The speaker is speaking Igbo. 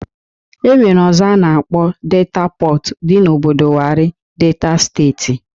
E nwere ọzọ a na-akpọ Delta Pọt, dị n'obodo Warri, Delta steeti